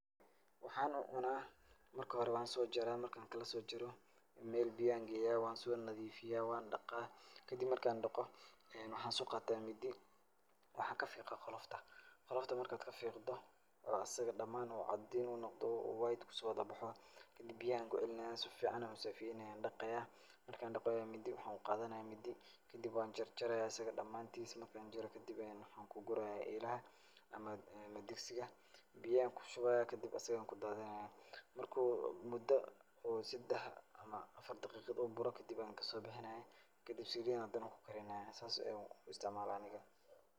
Waxaana cunaa. Marka hore waan soo jaraa. marka aan kala soo jaro, meel biyo ayaan geeyaa waan soo nadiifiyaa waan dhaqaa. Kadib marka aan dhaqo ee waxaan soo qaataa mindi. Waxaan ka fiiqaa qolofta. Qolofta marka aad ka fiqdo oo asig dhamaan oo cadiin uu noqdo white kusoowadabaxo, kadib biyah ayaan ku cilinaayaa si ficaan u safeyneyaa aan dhaqayaa. Marka aaan dhaqo ayaa mindi waxaan u qaadanayaa mindi, kadib waan jarjarayaa asig dhamaantiisa marka aan jaro kadib ayaa waxaan ku gurayaa eelaha ama digsiga. Biyahaan ku shubayaa kadib asig ayaa ku daadinayaa. Marka uu mudo oo sedax ama afar daqiiqid uu buro ayaan kasoo bixinayaa kadib saliit ayaan hadana ku karinayaa saas yaan u istacmaalaa aniga.